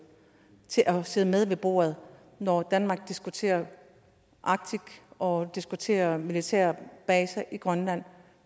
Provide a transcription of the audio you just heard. til at sidde med ved bordet når danmark diskuterer arktis og diskuterer militærbaser i grønland